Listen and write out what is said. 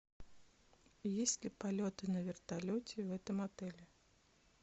есть ли полеты на вертолете в этом отеле